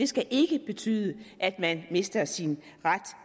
skal ikke betyde at man mister sin ret